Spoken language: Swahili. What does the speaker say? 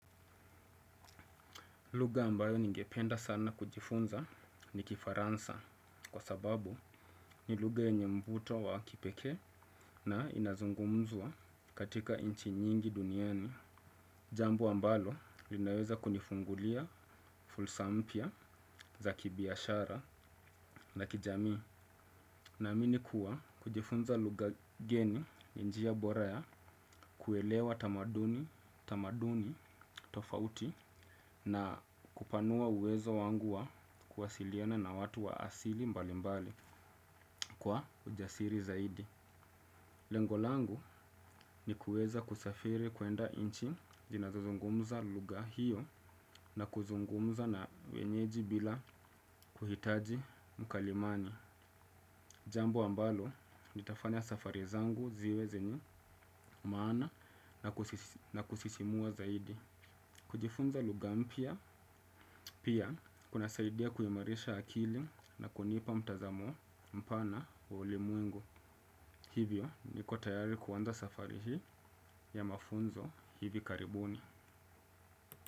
Lugha ambayo ningependa sana kujifunza ni kifaransa. Kwa sababu ni lugha yenye mvuto wa kipekee na inazungumzwa katika nchi nyingi duniani. Jambo ambalo linaweza kunifungulia fursa mpya za kibiashara na kijamii. Na amini kuwa kujifunza lugha geni ni njia bora ya kuelewa tamaduni tofauti na kupanua uwezo wangu wa kuwasiliana na watu wa asili mbali mbali kwa ujasiri zaidi. Lengo langu ni kuweza kusafiri kuenda nchi zinazozungumza lugha hiyo na kuzungumza na wenyeji bila kuhitaji mkalimani. Jambo ambalo litafanya safari zangu ziwe zenye maana na kusisimua zaidi. Kujifunza lugha mpya pia kunasaidia kuimarisha akili na kunipa mtazamo mpana wa ulimwengu. Hivyo niko tayari kuanza safari hii ya mafunzo hivi karibuni.